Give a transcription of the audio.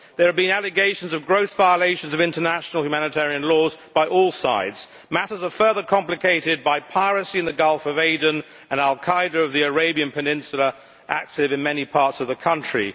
There have been allegations of gross violations of international humanitarian laws by all sides. Matters are further complicated by piracy in the Gulf of Aden, and al Qaeda in the Arabian Peninsula, active in many parts of the country.